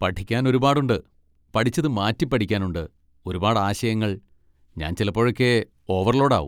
പഠിക്കാൻ ഒരുപാട് ഉണ്ട്, പഠിച്ചത് മാറ്റി പഠിക്കാൻ ഉണ്ട്, ഒരുപാട് ആശയങ്ങൾ, ഞാൻ ചിലപ്പോഴൊക്കെ ഓവർലോഡ് ആവും.